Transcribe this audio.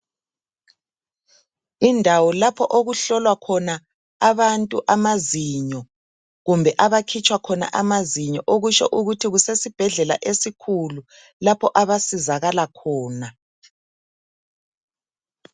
Indawo lapho okuhlolwa khona abantu amazinyo kumbe abakhitshwa khona amazinyo okutsho ukuthi kusesibhedlela esikhulu lapho abasizakala khona.